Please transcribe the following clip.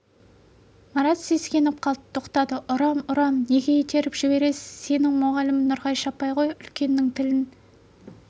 марат сескеніп қалт тоқтады ұрам ұрам неге итеріп жібересіз сенің мұғалімің нұрғайша апай ғой үлкеннің тілін